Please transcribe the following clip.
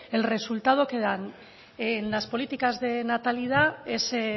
el resultado que dan en las políticas de natalidad ese